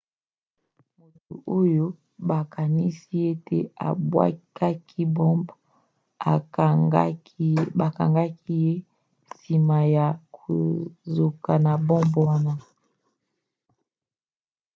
moto oyo bakanisi ete abwakaki bombe bakangaki ye nsima ya kozoka na bombe wana